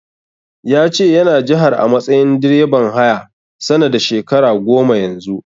Ya ce yana jihar a matsayin direban haya, sana da shekara goma Yanzu.